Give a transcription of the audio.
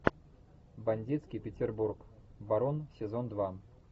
бандитский петербург барон сезон два